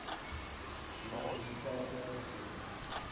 beeld publikasie uitbeelding